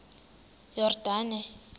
yordane